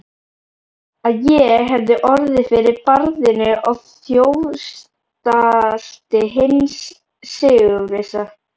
Að ég hefði orðið fyrir barðinu á þjófstarti hins sigurvissa.